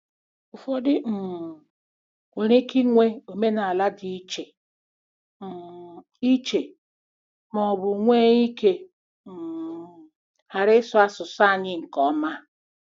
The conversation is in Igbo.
Ụfọdụ um nwere ike inwe omenala dị iche um iche ma ọ bụ nwee ike um ghara ịsụ asụsụ anyị nke ọma.